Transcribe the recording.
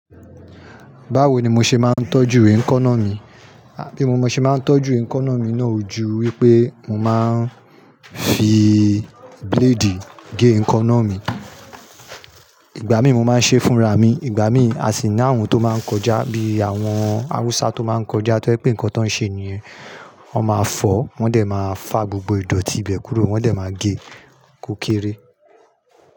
Báwo ni mo ṣe máa ń tọ́jú eh nkaná mi? Bí mo ṣe máa ń tọ́jú ìnkaná mi náà ju wípé mo máa ń fi blade gé èka náà mi. Ìgbà mí mo máa ń ṣe fúnra mi, ìgbà mí a sì ní ààwọ̀n tó máa ń kọjá bí àwọn àwúsá tó má ń kọjá tó jẹ́ pé nǹkan tan man ń ṣe ni yẹ́n, wọn máa fọ̀, wọ́n dẹ̀ máa fà gbogbo ìdọ̀tí ibẹ̀ kúrò, wọ́n dẹ̀ máa gé kó kéré.